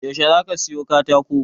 Yaushe zaka siyo katako?